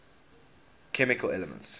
chemical elements